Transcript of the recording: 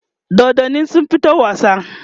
dodannin sun fito wasa?